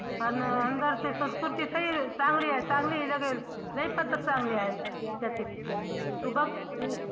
अन अंदरची सही चांगली लागेल लै चांगली त्याची तू बघ